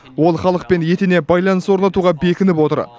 ол халықпен етене байланыс орнатуға бекініп отыр